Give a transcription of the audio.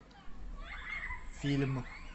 фильм